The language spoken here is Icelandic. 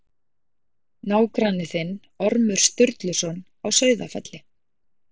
Nágranni þinn, Ormur Sturluson á Sauðafelli.